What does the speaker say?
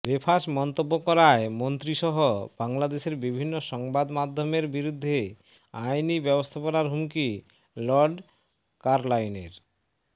বেফাঁস মন্তব্য করায় মন্ত্রীসহ বাংলাদেশের বিভিন্ন সংবাদ মাধ্যমের বিরুদ্ধে আইনি ব্যবস্থার হুমকি লর্ড কারলাইলের